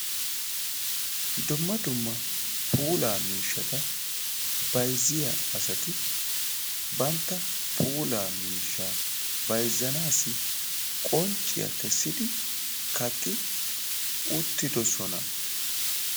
Dumma dumma puulaa miishshata bayzziyaa asati bantta puulaa miishshaa bayzzanaassi qoncciya kessidi kaqqi uttidoosona.